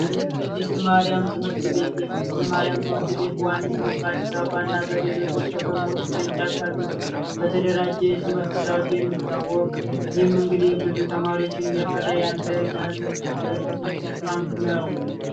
የቅድስት ማርያም ትምህርት ቤት የቅድስት ማርያም ትምህርት ቤት በዋነኝነት በአዲስ አበባ እና በሌሎች ከተሞች ቅርንጫፎች ያሉት በተደራጀ የትምህርት ስርዓት የሚታወቅም እንግዲህ ብዙ ተማሪዎች እያፈራ ያለ ከታላላቅ ትምህርት ቤቶች ውስጥ አንዱ ነው።